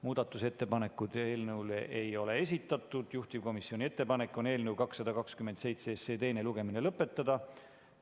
Muudatusettepanekuid eelnõu kohta ei ole esitatud, juhtivkomisjoni ettepanek on eelnõu 227 teine lugemine lõpetada.